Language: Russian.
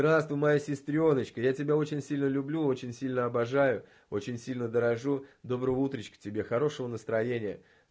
здравствуй моя сестрёночка я тебя очень сильно люблю очень сильно обожаю очень сильно дорожу доброго утречка тебе хорошего настроения